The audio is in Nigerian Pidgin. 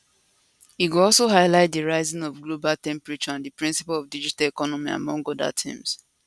e go also highlight di rising of global temperatures and di principles of digital economy among oda themes